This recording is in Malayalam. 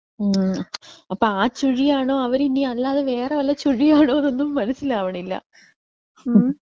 ഉം അപ്പോ ആ ചുഴി ആണോ അവര് ഇനി അല്ലാതെ വേറെ വെല്ല ചുഴി ആണോന്നൊന്നും മനസിലാവണില്ല. ഉം.